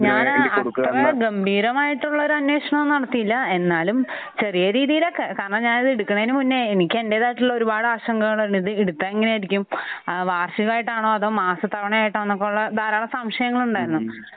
ഞാൻ അത്ര ഗംഭീരമായിട്ടുള്ള ഒരു അന്വേഷണമൊന്നും നടത്തിയില്ല. എന്നാലും ചെറിയ രീതിയിൽ ഒക്കെ. കാരണം ഞാൻ ഇത് എടുക്കുന്നതിന് മുന്നേ എനിക്ക് എന്റേതായിട്ടുള്ള ഒരുപാട് ആശങ്കകളുണ്ട്. ഇത് എടുക്കാൻ എങ്ങനെയായിരിക്കും? വാർഷികമായിട്ടാണോ അതോ മാസതവണയായിട്ടാണോ പോലെ ധാരാളം സംശയങ്ങൾ ഉണ്ടായിരുന്നു.